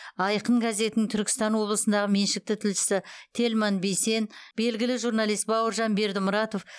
айқын газетінің түркістан облысындағы меншікті тілшісі тельман бейсен белгілі журналист бауыржан бердімұратов